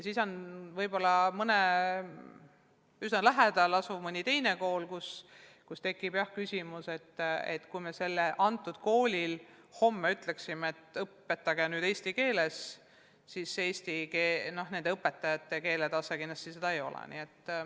Kui üsna lähedal asub mõni teine kool, kus tekib õppekeele küsimus, ja kui me selle koolile homme ütleksime, et õpetage eesti keeles, siis nende õpetajate keeletase seda kindlasti ei võimalda.